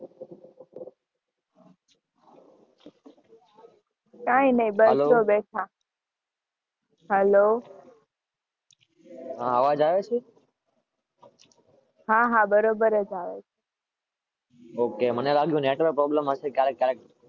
કઈ નહીં બસ જો બેઠા. હેલો, હ અવાજ આવે છે? હા હા બરોબર જ આવે છે.